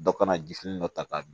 Dɔ kana jifini dɔ ta k'a dun